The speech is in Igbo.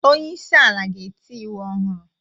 Onye isi ala ga-eti iwu ọhụrụ